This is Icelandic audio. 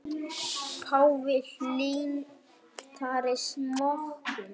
Páfi hlynntari smokkum